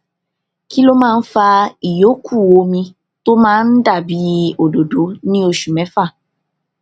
kí ló máa ń fa ìyókù omi tó máa ń dà bí òdòdó ní oṣù méfà